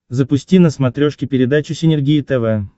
запусти на смотрешке передачу синергия тв